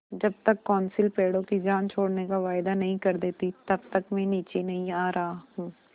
जब तक कौंसिल पेड़ों की जान छोड़ने का वायदा नहीं कर देती तब तक मैं नीचे नहीं आ रहा हूँ